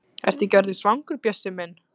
Ertu ekki orðinn svangur, Bjössi minn?